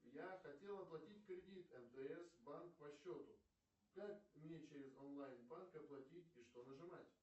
я хотел оплатить кредит мтс банк по счету как мне через онлайн банк оплатить и что нажимать